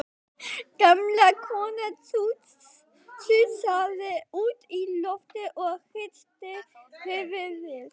Gamla konan sussaði út í loftið og hristi höfuðið.